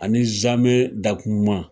Ani zamɛ dakumuman.